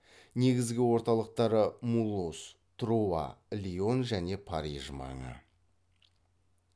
негізгі орталықтары мулуз труа лион және париж маңы